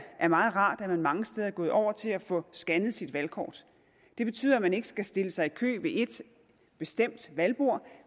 meget rart at man mange steder er gået over til at få scannet sit valgkort det betyder at man ikke skal stille sig i kø ved et bestemt valgbord